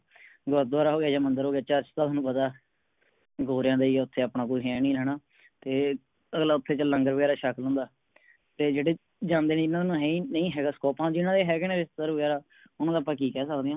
ਗੁਰਦਵਾਰਾ ਹੋਵੇ ਯਾ ਮੰਦਰ ਹੋਵੇ church ਦਾ ਹੁਣ ਪਤਾ ਗੋਰਿਆਂ ਦੇ ਹੀ ਹ ਓਥੇ ਆਪਣਾ ਕੁਝ ਹੈ ਨੀ ਹਣਾ, ਤੇ ਅਗਲਾ ਉਥੇ ਚੱਲ ਲੰਗਰ ਵਗੈਰਾ ਛੱਕ ਲੈਂਦਾ ਹੈ। ਤੇ ਜਿਹੜੇ ਜਾਣਦੇ ਨਹੀਂ ਇਹਨਾਂ ਨੂੰ ਹਈ ਨਾਈ ਹੈਗਾ scope ਜਿਨ੍ਹਾਂ ਦੇ ਹੈਗੇ ਨੇ ਰਿਸ਼ਤੇਦਾਰ ਵਗੈਰਾ ਓਹਨਾ ਦਾ ਅੱਪਾ ਕਿ ਕਹਿ ਸਕਦੇ ਆ।